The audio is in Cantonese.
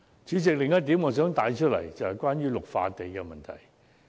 主席，我想帶出的另一點是綠化地帶的問題。